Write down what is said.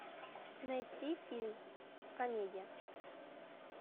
найти фильм комедия